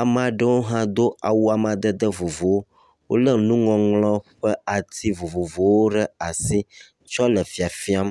ame aɖewo hã do awu amadede vovovowo, wolé nuŋɔŋlɔ ƒe ati vovovowo ɖe asi tsɔ le fafiam.